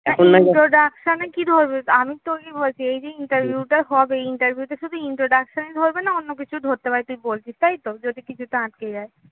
introduction এ কি ধরবে? আমি তোকেই বলছি এই যে interview টা হবে interview শুধু introduction ই ধরবে, না অন্য কিছুও ধরতে পারে তুই বলছিস তাই তো? যদি কিছুতে আটকে যায়